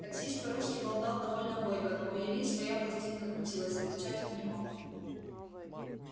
таксист по-русски болтал довольно бойко но у ильи своя пластинка крутилась отвечать он не мог